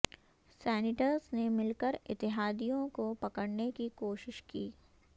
senators نے مل کر اتحادیوں کو پکڑنے کی کوشش کی